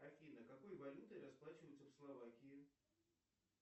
афина какой валютой расплачиваются в словакии